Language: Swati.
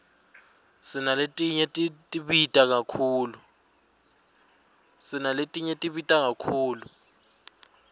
sinaletinye tibita kakhulu